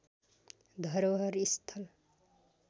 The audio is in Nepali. धरोहर स्थल